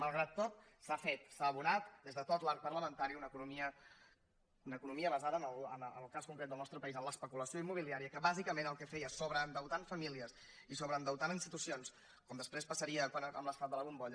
malgrat tot s’ha fet s’ha abonat des de tot l’arc parlamentari una economia basada en el cas concret del nostre país en l’especulació immobiliària que bàsicament el que feia sobreendeutant famílies i sobreendeutant institucions com després passaria amb l’esclat de la bombolla